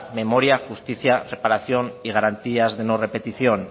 memoria justicia reparación y garantías de no repetición